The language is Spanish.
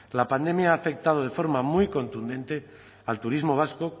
la pandemia ha afectado de forma muy contundente al turismo vasco